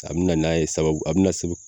A bi na n'a ye sababu a bi na sababu